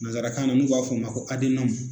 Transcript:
Nansarakan na n'u b'a fɔ a ma ko